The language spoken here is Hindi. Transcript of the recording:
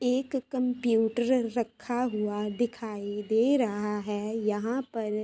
एक कंप्यूटर रखा हुआ दिखाई दे रहा है। यहाँ पर--